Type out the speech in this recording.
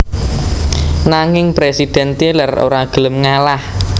Nanging Presiden Tyler ora gelem ngalah